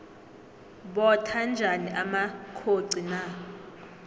botha njani amakhoxi na